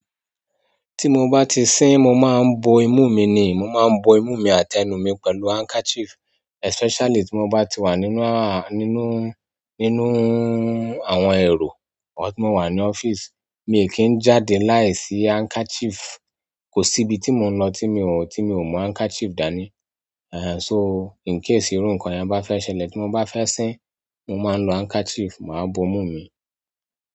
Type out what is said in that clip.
Tí mo bá ti sín mo máa ń bo imú mi ni. Mo máa ń bo imú mi àti ẹnu mi pẹ̀lú handkerchief especially tí mo bá ti wà nínú àwọn ẹ̀rọ, or tí mo wà ní ọ́fíìsì. Mi i kii jáde láìsí handkerchief. Kò sí ibi tí mò ń lọ tí mi ò mú handkerchief dání. So, in case irú nǹkan yẹn bá fẹ́ ṣẹlẹ̀ tí mo bá fẹ́ sín, mo máa ń lo handkerchief, màá bo imú mi.